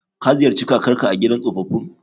Ka ziyarci kakarka a gidan tsofaffin?